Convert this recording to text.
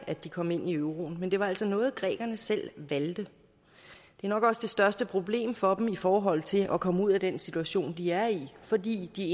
at de kom ind i euroen men det var altså noget grækerne selv valgte det er nok også det største problem for dem i forhold til at komme ud af den situation de er i fordi de